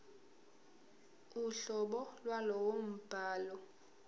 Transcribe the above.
uhlobo lwalowo mbhalo